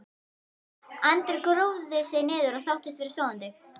Andri grúfði sig niður og þóttist vera sofandi.